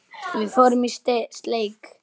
Við fórum í steik.